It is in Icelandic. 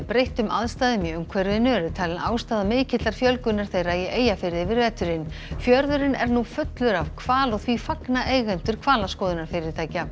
breyttum aðstæðum í umhverfinu eru talin ástæða mikillar fjölgunar þeirra í Eyjafirði yfir veturinn fjörðurinn er nú fullur af hval og því fagna eigendur hvalaskoðunarfyrirtækja